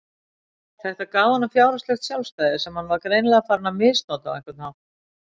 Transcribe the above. Þetta gaf honum fjárhagslegt sjálfstæði sem hann var greinilega farinn að misnota á einhvern hátt.